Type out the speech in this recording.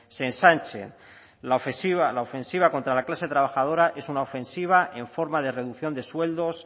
se ensanchen la ofensiva contra la clase trabajadora es una ofensiva en forma de reducción de sueldos